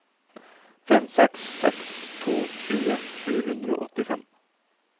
fem seks seks to tjue sju hundre og åttifem